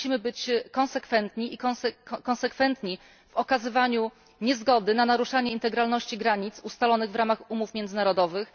Musimy być konsekwentni i konsekwentni w okazywaniu niezgody na naruszanie integralności granic ustalonych w ramach umów międzynarodowych.